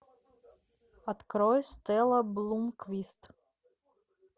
открой стелла блумквист